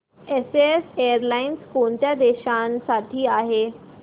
SAS airlines कोणत्या देशांसाठी आहे